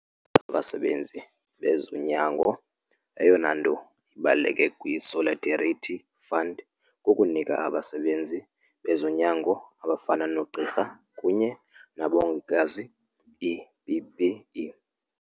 zabasebenzi bezonyango. Eyona nto ibaluleke kwi-Solidarity Fund kukunika abasebenzi bezonyango abafana noogqirha kunye nabongikazi ii-PPE.